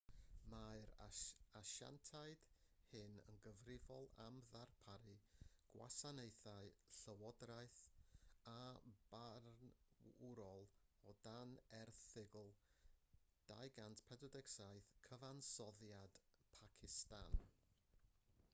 mae'r asiantiaid hyn yn gyfrifol am ddarparu gwasanaethau llywodraeth a barnwrol o dan erthygl 247 cyfansoddiad pacistan